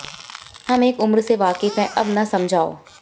हम एक उम्र से वाक़िफ़ हैं अब न समझाओ